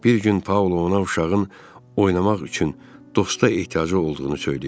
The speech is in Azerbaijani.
Bir gün Paula ona uşağın oynamaq üçün dosta ehtiyacı olduğunu söyləyib.